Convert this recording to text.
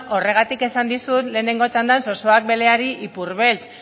horregatik esan dizut lehenengo txandan zozoak beleari ipurbeltz